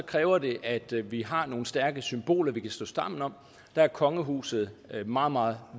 kræver det at vi har nogle stærke symboler vi kan stå sammen om der er kongehuset en meget meget